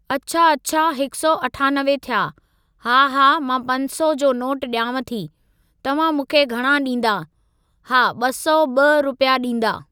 अच्छा अच्छा हिकु सौ अठानवे थिया, हा हा मां पंज सौ जो नोटु ॾियांव थी, तव्हां मूंखे घणां ॾीन्दा, हा ॿ सौ ॿ रुपया ॾीन्दा।